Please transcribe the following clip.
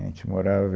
A gente morava...